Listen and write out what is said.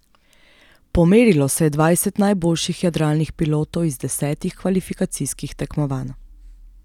Pomerilo se je dvajset najboljših jadralnih pilotov iz desetih kvalifikacijskih tekmovanj.